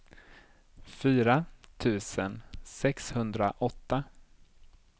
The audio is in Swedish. fyra tusen sexhundraåtta